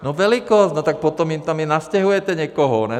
No velikost, no tak potom jim tam i nastěhujete někoho, ne?